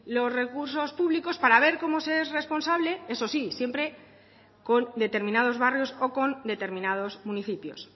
los recursos públicos para ver cómo se es responsable eso sí siempre con determinados barrios o con determinados municipios